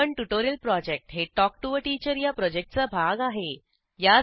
spoken tutorial project हे talk to teacher या प्रॉजेक्टचा भाग आहे